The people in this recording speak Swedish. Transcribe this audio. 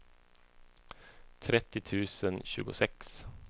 trettio tusen tjugosex